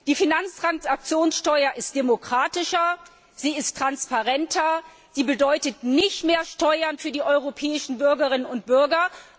Die Finanztransaktionssteuer ist demokratischer, sie ist transparenter, sie bedeutet nicht mehr Steuern für die europäischen Bürgerinnen und Bürger.